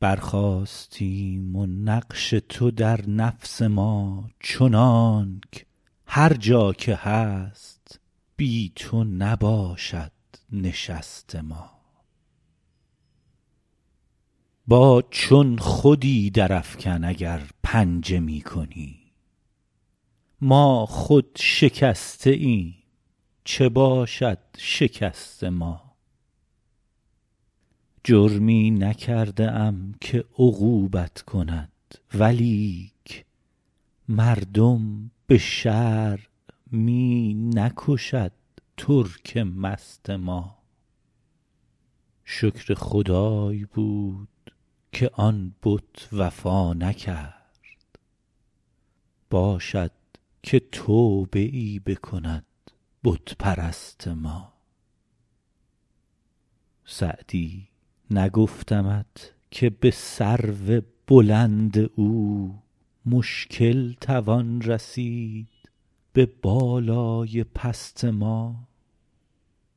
برخاستیم و نقش تو در نفس ما چنانک هر جا که هست بی تو نباشد نشست ما با چون خودی درافکن اگر پنجه می کنی ما خود شکسته ایم چه باشد شکست ما جرمی نکرده ام که عقوبت کند ولیک مردم به شرع می نکشد ترک مست ما شکر خدای بود که آن بت وفا نکرد باشد که توبه ای بکند بت پرست ما سعدی نگفتمت که به سرو بلند او مشکل توان رسید به بالای پست ما